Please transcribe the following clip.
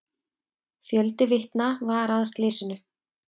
Fjöldi vitna var að slysinu.